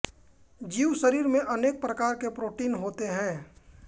जीव शरीर में अनेक प्रकार के प्रोटीन होते हैं